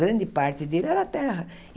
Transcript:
Grande parte dele era terra.